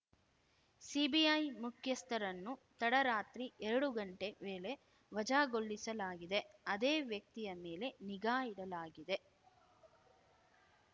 CBI ಮುಖ್ಯಸ್ಥರನ್ನು ತಡರಾತ್ರಿ ಎರಡು ಗಂಟೆ ವೇಳೆ ವಜಾಗೊಳಿಸಲಾಗಿದೆ ಅದೇ ವ್ಯಕ್ತಿಯ ಮೇಲೆ ನಿಗಾ ಇಡಲಾಗಿದೆ